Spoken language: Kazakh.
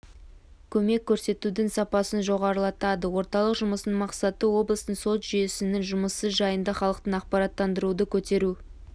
көмек көрсетудің сапасын жоғарылатады орталық жұмысының мақсаты облыстың сот жүйесінің жұмысы жайында халықты ақпараттандыруды көтеру